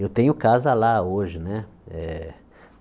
Eu tenho casa lá hoje né eh.